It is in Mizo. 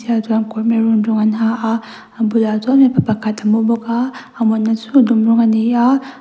maroon rawng an ha a a bulah chuan mipa pakhat a mi bawk a a mutna chu a dum rawng a ni a.